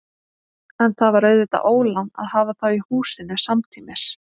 En það var auðvitað ólán að hafa þá í húsinu samtímis.